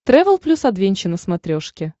трэвел плюс адвенча на смотрешке